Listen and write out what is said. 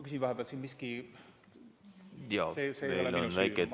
Küsin vahepeal, et kas siin on mingisugune tehniline rike.